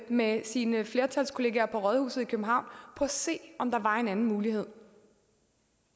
med sine flertalskolleger på rådhuset i københavn på at se om der var en anden mulighed